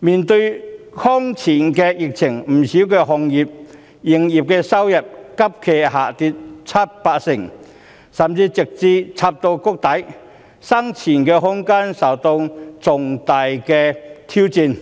面對空前的疫情，不少行業的營業收入急劇下跌七八成，甚至直插谷底，生存空間受到重大挑戰，